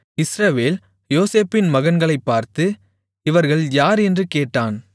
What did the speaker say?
இஸ்ரவேல் யோசேப்பின் மகன்களைப் பார்த்து இவர்கள் யார் என்று கேட்டான்